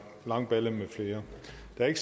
der er